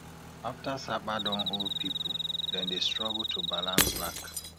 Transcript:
after sapa don hold people dem dey struggle to balance back